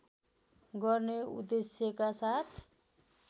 गर्ने उद्देश्यका साथ